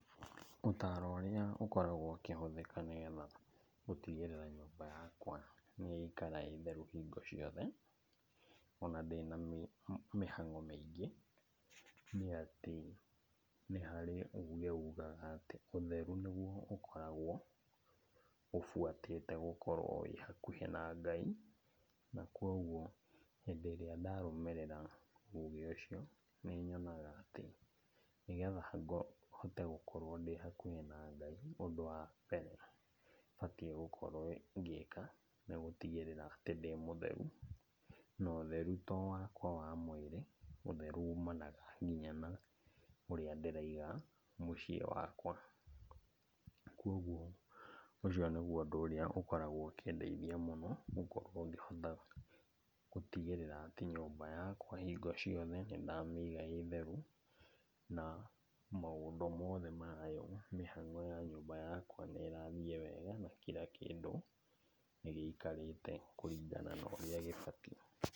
Ũtaro ũrĩa ũkoragwo ũkĩhũthĩka nĩgetha gũtigĩrĩra nyũmba yakwa nĩyaikara ĩ theru hingo ciothe, ona ndĩ na mĩhang'o mĩingĩ, nĩ atĩ nĩ harĩ uge ugaga atĩ ũtheru nĩguo ũkoragwo ũbuatĩte gũkorwo wĩ hakuhĩ na Ngai. Na koguo, hĩndĩ ĩrĩa ndarũmĩrĩra ũge ũcio, nĩnyonaga atĩ nĩgetha hote gũkorwo ndĩ hakuhĩ na Ngai, ũndũ wa mbere batiĩ gũkorwo ngĩka nĩgũtigĩrĩra atĩ ndĩ mũtheru. Na ũtheru to wakwa wa mwĩrĩ, ũtheru umanaga nginya na ũrĩa ndĩraiga mũciĩ wakwa. Koguo ũcio nĩguo ũndũ ũrĩa ũkoragwo ũkĩndeithia mũno gũkorwo ngĩhota gũtigĩrĩra atĩ nyũmba yakwa hingo ciothe nĩndamĩiga ĩ theru, na maũndũ mothe mayo, mĩhango ya nyũmba yakwa nĩĩrathiĩ wega, na kira kĩndũ nĩ gĩikarĩte kũringana na ũrĩa gĩbatiĩ.